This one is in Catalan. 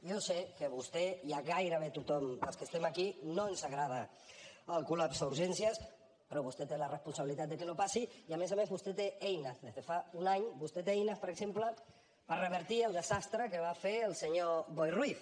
jo sé que a vostè i a gairebé tothom dels que estem aquí no ens agrada el col·lapse a urgències però vostè té la responsabilitat que no passi i a més a més vostè té eines des de fa un any vostè té eines per exemple per revertir el desastre que va fer el senyor boi ruiz